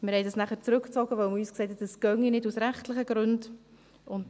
Wir zogen es nachher zurück, weil man uns sagte, das gehe aus rechtlichen Gründen nicht.